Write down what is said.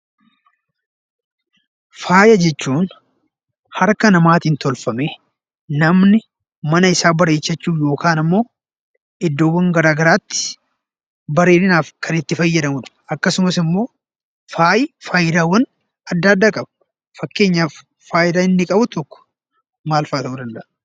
Faaya jechuun harka namaatiin tolfamee namni mana isaa bareechachuuf yookan ammoo iddoowwan garaa garaatti bareedinaaf kan itti fayyadamudha. Akkasumas immoo faayi faayidaawwan adda addaa qaba. Fakkeenyaf faayidaa inni qabu tokko maalfaa ta'uu danda'a?